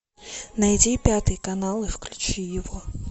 найди пятый канал и включи его